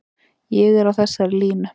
Ég er á þessari línu.